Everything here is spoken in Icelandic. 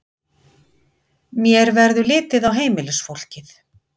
Mér verður litið á heimilisfólkið.